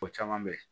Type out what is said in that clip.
O caman bɛ yen